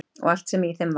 Og allt sem í þeim var.